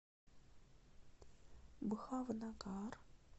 бхавнагар